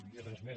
i res més